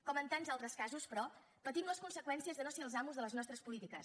com en tants altres casos però patim les conseqüències de no ser els amos de les nostres polítiques